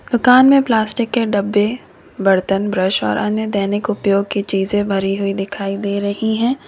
दुकान में प्लास्टिक के डब्बे बर्तन ब्रश और अन्य दैनिक उपयोग की चीजें भरी हुई दिखाई दे रही हैं।